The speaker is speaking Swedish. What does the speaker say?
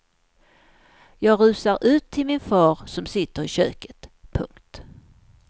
Jag rusar ut till min far som sitter i köket. punkt